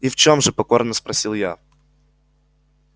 и в чем же покорно спросил я